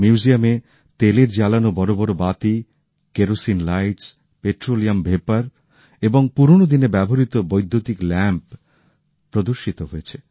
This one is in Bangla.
মিউজিয়ামে তেলে জ্বালানো বড় বড় বাতি কেরোসিনের বাতি পেট্রোলিয়াম ভেপার এবং পুরনো দিনের ব্যবহৃত বৈদ্যুতিক বাতি প্রদর্শিত হয়